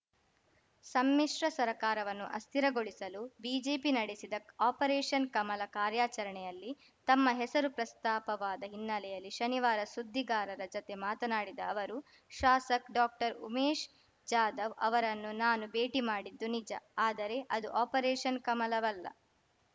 ಸಮ್ಮಿಶ್ರ ಸರ್ಕಾರವನ್ನು ಅಸ್ಥಿರಗೊಳಿಸಲು ಬಿಜೆಪಿ ನಡೆಸಿದ ಆಪರೇಷನ್‌ ಕಮಲ ಕಾರ್ಯಾಚರಣೆಯಲ್ಲಿ ತಮ್ಮ ಹೆಸರು ಪ್ರಸ್ತಾಪವಾದ ಹಿನ್ನೆಲೆಯಲ್ಲಿ ಶನಿವಾರ ಸುದ್ದಿಗಾರರ ಜತೆ ಮಾತನಾಡಿದ ಅವರು ಶಾಸಕ್ ಡಾಕ್ಟರ್ ಉಮೇಶ್‌ ಜಾಧವ್‌ ಅವರನ್ನು ನಾನು ಭೇಟಿ ಮಾಡಿದ್ದು ನಿಜ ಆದರೆ ಅದು ಆಪರೇಷನ್‌ ಕಮಲವಲ್ಲ